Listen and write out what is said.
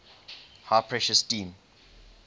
high pressure steam